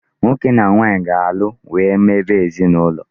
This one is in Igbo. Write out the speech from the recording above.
Nwoke na nwanyị ga-alụ wee n'ebe ezinụlọ.